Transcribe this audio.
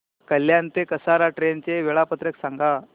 कल्याण ते कसारा ट्रेन चे वेळापत्रक सांगा